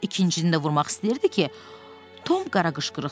İkincini də vurmaq istəyirdi ki, Tom qaraqışqırıq saldı.